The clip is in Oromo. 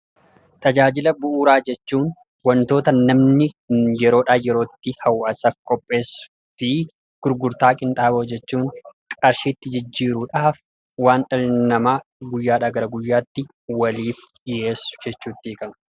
Tajaajila bu'uuraa jechuun wantoota namni yeroodhaa yerootti hawaasaaf qopheessuu fi gurgurtaa qinxaaboo jechuun qarshiitti jijjiiruudhaaf waan dhalli namaa guyyaadhaa gara guyyaatti waliif dhiyeessu jechuutti hiikamu.